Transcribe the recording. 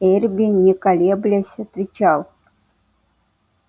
эрби не колеблясь отвечал